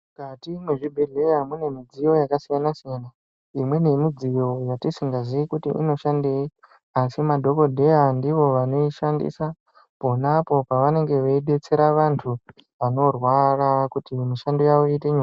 Mukati mwezvibhehleya mune midziyo yakasiyana-siyana. Imweni yemidziyo yatisikazii kuti inoshandei asi madhokodheya ndivo vanoishandisa ponapo pavenenge veidetsera vantu vanorwara kuti mishando yawo iite nyore.